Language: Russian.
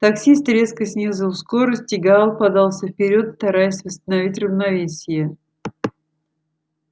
таксист резко снизил скорость и гаал подался вперёд стараясь восстановить равновесие